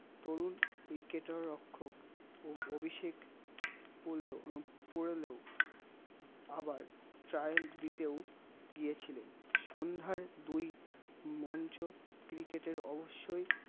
তরুণ cricket আর অক্ষক ও অভিষেক পুলেও পুরেলো আবার trial দিতেও দিয়েছিলেন সন্ধ্যায় দুই মঞ্চ cricket আর অবশ্যই